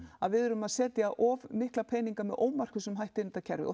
að við erum að setja of mikla peninga með ómarkvissum hætti inn í kerfið og